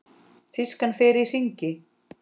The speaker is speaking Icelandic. Tískan fer í hringi.